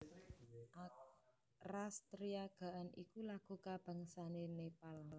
Ras Triya Gaan iku lagu kabangsané Nepal